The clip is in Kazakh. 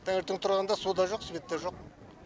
таңертең тұрғанда су да жоқ свет та жоқ